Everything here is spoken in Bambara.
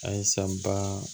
A ye san ba